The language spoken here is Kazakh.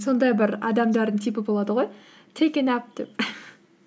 сондай бір адамдардың типі болады ғой тэйк э нап деп